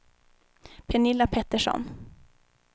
Pernilla Petersson